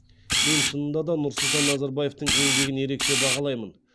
мен шынында да нұрсұлтан назарбаевтың еңбегін ерекше бағалаймын